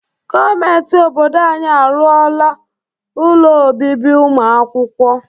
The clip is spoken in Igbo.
Gọọmenti obodo anyị arụọla ụlọ obibi ụmụ akwụkwọ.